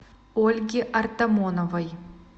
ольги артамоновой